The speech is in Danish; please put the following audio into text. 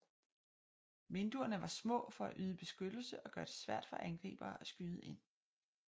Vinduerne var små for at yde beskyttelse og gøre det svært for angribere at skyde ind